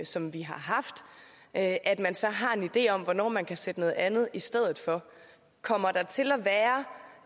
som vi har haft at man så har en idé om hvornår man kan sætte noget andet i stedet for kommer der til